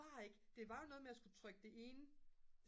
bare ikke det var jo noget med at jeg skulle trykke det ene